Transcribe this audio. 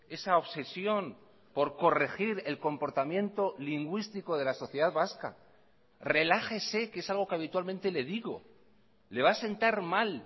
esa obsesión por corregir el comportamiento lingüístico de la sociedad vasca relájese que es algo que habitualmente le digo le va a sentar mal